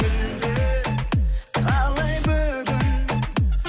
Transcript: мүлде қалай бүгін